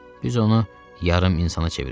Biz onu yarım insana çevirəcəyik.